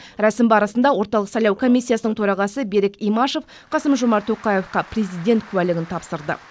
рәсім барысында орталық сайлау комиссиясының төрағасы берік имашев қасым жомарт тоқаевқа президент куәлігін тапсырды